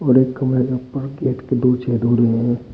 और एक कमरे के ऊपर गेट के दो छेद हो रहे हैं।